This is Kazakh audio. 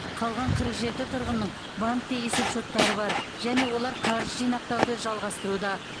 қалған қырық жеті тұрғынның банкте есепшоттары бар және олар қаржы жинақтауды жалғастыруда